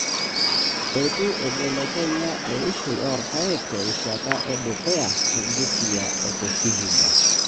Eitu eibelekenya eishoi oorpaek te rishata edukuya te Busia o te Vihiga.